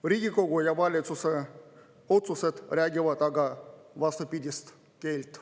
Riigikogu ja valitsuse otsused räägivad aga vastupidist keelt.